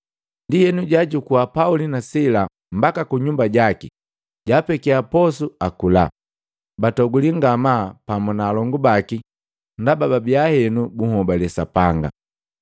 Ndienu jaajukua Pauli na Sila mbaka ku nyumba jaki, jaapekia posu akula. Batoguli ngamaa pamu na alongu baki ndaba babia henu bunhobale Sapanga.